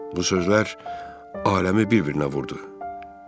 Bu sözlər aləmi bir-birinə vurdu.